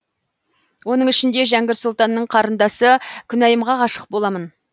оның ішінде жәңгір сұлтанның қарындасы күнайымға ғашық боламын